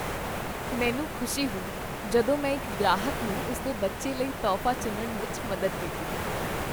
ਮੈਨੂੰ ਖੁਸ਼ੀ ਹੋਈ ਜਦੋਂ ਮੈਂ ਇੱਕ ਗ੍ਰਾਹਕ ਨੂੰ ਉਸ ਦੇ ਬੱਚੇ ਲਈ ਤੋਹਫ਼ਾ ਚੁਣਨ ਵਿੱਚ ਮਦਦ ਕੀਤੀ।